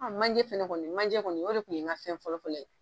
A manjɛ fɛnɛ kɔni manjɛ kɔni o de kun ye an ka fɛn fɔlɔfɔlɔ ye